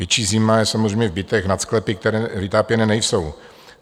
Větší zima je samozřejmě v bytech nad sklepy, které vytápěné nejsou.